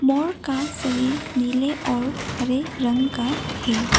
मोर का शरीर नीले और हरे रंग का है।